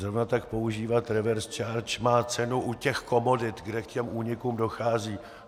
Zrovna tak používat reverse charge má cenu u těch komodit, kde k těm únikům dochází.